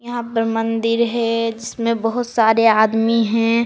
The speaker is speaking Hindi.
यहां पर मंदिर है जिसमें बहुत सारे आदमी हैं।